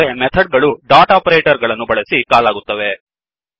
ಆದರೆ ಮೆಥಡ್ ಗಳು dot operator ಗಳನ್ನು ಬಳಸಿ ಕಾಲ್ ಆಗುತ್ತವೆ